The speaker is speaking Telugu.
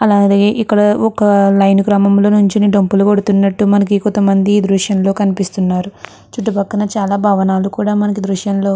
అలాగే ఇక్కడ ఒక అలా అయిన గ్రామంలో నించొని డప్పులు కొడుతూ ఉన్నట్టుగా కొంతమంది ఈ దృశ్యంలో కనిపిస్తూ ఉన్నారు. చుట్టుపక్కన భవనాలు కూడా మనకు ఈ దృశ్యంలో --